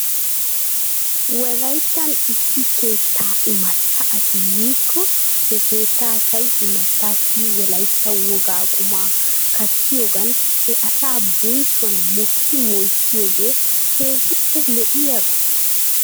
Wolayttan issi keettaa imatta asi yiikko he keettaa asay imattaassi wolaytta wogaa qumaa kattiyoogan he asaa bonchchuwan mokki moyssiyoogee keehippe lo'iyaaba?